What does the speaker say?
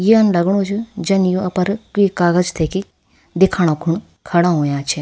यन लगणु च जन यू अपर कुई कागज लेकि दिखाणा खुण खड़ा हुया छिन।